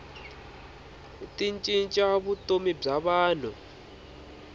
ti cinca vutomi bya vanhu